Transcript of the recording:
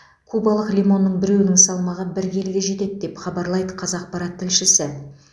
кубалық лимонның біреуінің салмағы бір келіге жетеді деп хабарлайды қазақпарат тілшісі